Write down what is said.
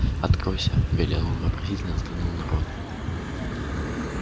откройся велел он и вопросительно взглянул на рона